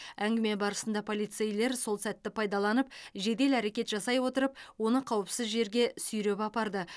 әңгіме барысында полицейлер сол сәтті пайдаланып жедел әрекет жасай отырып оны қауіпсіз жерге сүйреп апарды